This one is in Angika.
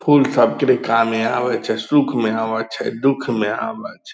फुल सब करे कामे आबै छै सुख मे आबै छै दुख मे आबै छै।